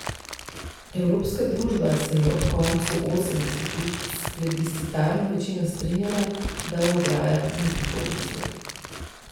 Evropska družba se je ob koncu osemdesetih s plebiscitarno večino strinjala, da v ograjah ni prihodnosti.